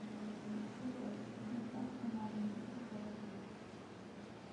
чипсы лейс доставка на дом петрозаводск